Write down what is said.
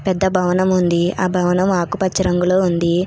పెద్ద భవనం ఉంది. ఆ భవనం ఆకుపచ్చ రంగులో ఉంది.